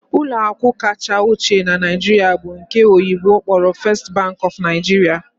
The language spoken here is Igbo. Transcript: Ụlọ akụ kacha ochie na Naịjirịa bụ nke oyibo kpọrọ 'First Bank of Nigeria'